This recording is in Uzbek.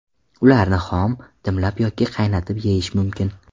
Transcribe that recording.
Ularni xom, dimlab yoki qaynatib yeyish mumkin.